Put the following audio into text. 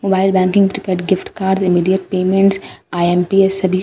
wild banking prepaid gifts cards immediate payments IMPS सभी --